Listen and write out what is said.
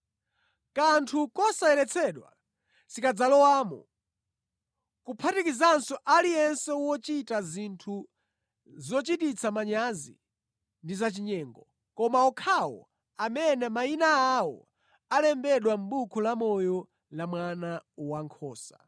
Kanthu kosayeretsedwa sikadzalowamo, kuphatikizanso aliyense wochita zinthu zochititsa manyazi ndi zachinyengo, koma okhawo amene mayina awo alembedwa mʼbuku lamoyo la Mwana Wankhosa.